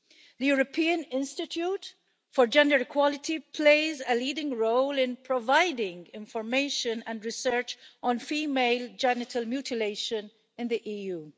The European Institute for Gender Equality plays a leading role in providing information and research on female genital mutilation in the EU.